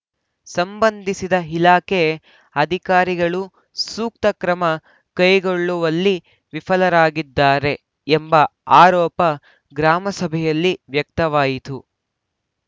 ಸಂಬಂಧಿಸಿದ ಇಲಾಖೆ ಅಧಿಕಾರಿಗಳು ಸೂಕ್ತ ಕ್ರಮ ಕೈಗೊಳ್ಳುವಲ್ಲಿ ವಿಫಲರಾಗಿದ್ದಾರೆ ಎಂಬ ಆರೋಪ ಗ್ರಾಮಸಭೆಯಲ್ಲಿ ವ್ಯಕ್ತವಾಯಿತು